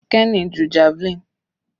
Kenny ju javelin.